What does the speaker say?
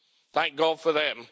Thank God for them.